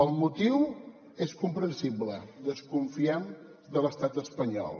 el motiu és comprensible desconfiem de l’estat espanyol